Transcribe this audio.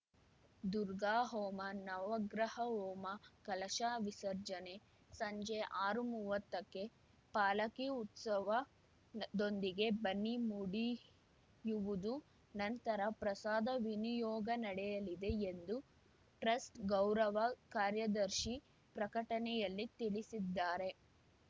ದುರ್ಗಾಹೋಮ ನವಗ್ರಹ ಹೋಮ ಕಲಶ ವಿಸರ್ಜನೆ ಸಂಜೆ ಆರುಮೂವತ್ತಕ್ಕೆ ಪಾಲಕಿ ಉತ್ಸವದೊಂದಿಗೆ ಬನ್ನಿ ಮುಡಿಯುವುದು ನಂತರ ಪ್ರಸಾದ ವಿನಿಯೋಗ ನಡೆಯಲಿದೆ ಎಂದು ಟ್ರಸ್ಟ್‌ ಗೌರವ ಕಾರ್ಯದರ್ಶಿ ಪ್ರಕಟಣೆಯಲ್ಲಿ ತಿಳಿಸಿದ್ದಾರೆ